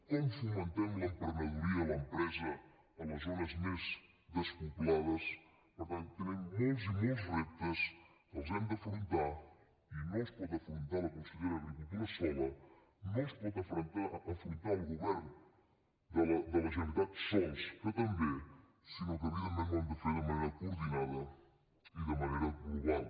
com fomentem l’emprenedoria i l’empresa a les zones més despoblades per tant tenim molts i molts reptes els hem d’afrontar i no els pot afrontar la consellera d’agricultura sola no els pot afrontar el govern de la generalitat sols que també sinó que evidentment ho hem de fer de manera coordinada i de manera global